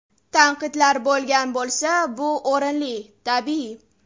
Tanqidlar bo‘lgan bo‘lsa, bu o‘rinli, tabiiy.